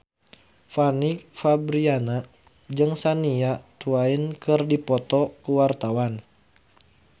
Fanny Fabriana jeung Shania Twain keur dipoto ku wartawan